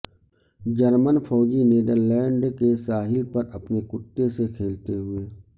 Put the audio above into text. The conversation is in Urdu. جرمن فوجی نیدرلینڈز کے ساحل پر اپنے کتے سے کھیلتے ہوئے